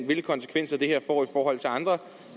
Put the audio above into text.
hvilke konsekvenser det her får i forhold til andre